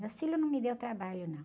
Meus filhos não me deram trabalho, não.